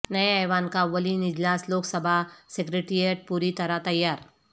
نئے ایوان کا اولین اجلاس لوک سبھا سیکریٹریٹ پوری طرح تیار